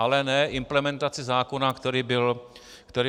Ale ne implementaci zákona, který byl schválen.